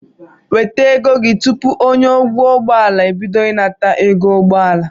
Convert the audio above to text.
Weta ego gị tụpụ onye ọkwọ ụgbọala ebido ịnata ego ụgbọala